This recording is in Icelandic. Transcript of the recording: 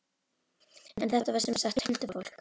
En þetta var sem sagt huldufólk.